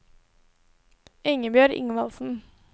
Ingebjørg Ingvaldsen